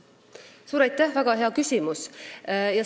Suur aitäh, väga hea küsimus!